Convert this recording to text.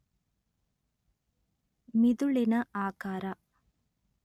ಮಿದುಳಿನ ಆಕಾರ